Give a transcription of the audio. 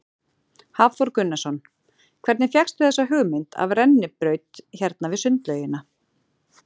Hafþór Gunnarsson: Hvernig fékkstu þessa hugmynd af rennibraut hérna við sundlaugina?